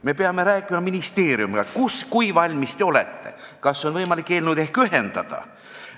Me peame rääkima ministeeriumiga, kui valmis nad on, kas on võimalik eelnõud ehk ühendada.